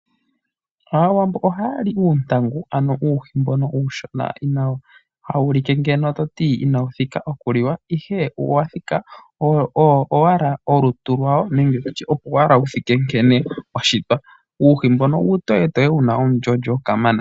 Aawambo ohaa li uuntangu ano uuhi mbono uushona hawu ulike ngeno toti inawu thika okuliwa ihe owathika, owo owala olutu lwawo nenge tutye opo wala wuthike nkene washitwa. Uuhi mbono uutoyetoye wuna omulyolyo kamana.